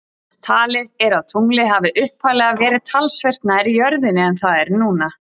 Talið er að tunglið hafi upphaflega verið talsvert nær jörðinni en það er núna.